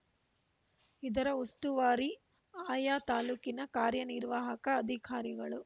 ಇದರ ಉಸ್ತುವಾರಿ ಅಯಾ ತಾಲೂಕಿನ ಕಾರ್ಯ ನಿರ್ವಾಹಕ ಅಧಿಕಾರಿಗಳು